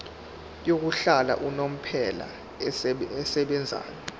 yokuhlala unomphela esebenzayo